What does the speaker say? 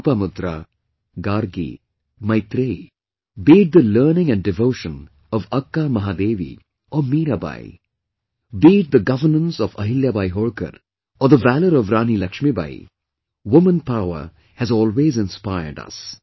Lopamudra, Gargi, Maitreyee; be it the learning & devotion of Akka Mahadevi or Meerabai, be it the governance of Ahilyabai Holkar or the valour of Rani Lakshmibai, woman power has always inspired us